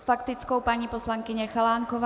S faktickou paní poslankyně Chalánková.